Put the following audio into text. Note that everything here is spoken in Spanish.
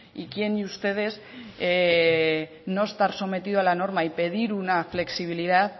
y quien de ustedes no estar sometido a la norma y pedir una flexibilidad